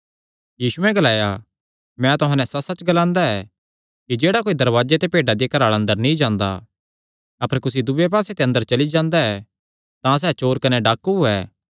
यीशुयैं ग्लाया मैं तुहां नैं सच्चसच्च ग्लांदा ऐ कि जेह्ड़ा कोई दरवाजे ते भेड्डां दिया घराला अंदर नीं जांदा अपर कुसी दूये पास्से ते अंदर चली जांदा ऐ तां सैह़ चोर कने डाकू ऐ